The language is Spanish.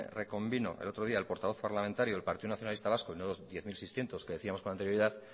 reconvino el otro día el portavoz parlamentario del partido nacionalista vasco no los diez mil seiscientos que decíamos con anterioridad